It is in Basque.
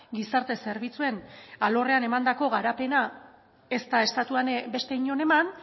gizarte zerbitzuen alorrean emandako garapena ez da estatuan beste inon eman